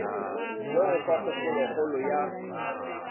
le go fa kgopolokgolo ya